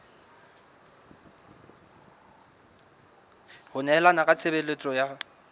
ho nehelana ka tshebeletso ya